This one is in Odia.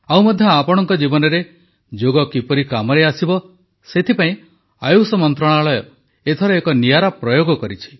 ଆଉ ମଧ୍ୟ ଆପଣଙ୍କ ଜୀବନରେ ଯୋଗ କିପରି କାମରେ ଆସିବ ସେଥିପାଇଁ ଆୟୁଷ ମନ୍ତ୍ରଣାଳୟ ଏଥର ଏକ ନିଆରା ପ୍ରୟୋଗ କରିଛି